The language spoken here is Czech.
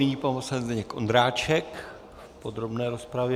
Nyní pan poslanec Zdeněk Ondráček v podrobné rozpravě.